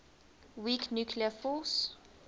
weak nuclear force